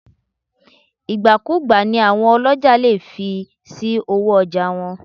Ìgbà-kú-ùgbà ni àwọn ọlọ́jà lè fi sí owó ọjà wọn.